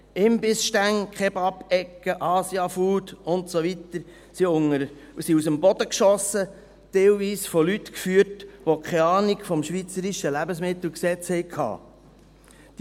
Imbissstände, KebabEcken, Asia-Food und so weiter sind aus dem Boden geschossen, teilweise von Leuten geführt, die keine Ahnung vom schweizerischen Bundesgesetz über Lebensmittel und Gebrauchsgegenstände (Lebensmittelgesetz, LMG) hatten.